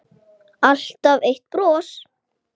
Alltaf eitt bros.